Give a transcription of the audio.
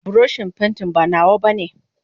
buroshin pantin ba nawa bane.